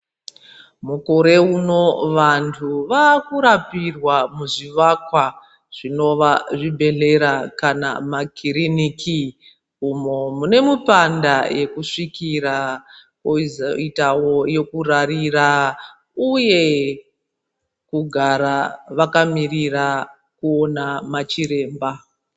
Mukore uno vantu vakurapirwa muzvivakwa zvinova zvibhedhlera kana makiriniki uno mune mupanda yekuzvikira kozoitawo yekurarira uye kugara vakamirira kuona machiremba.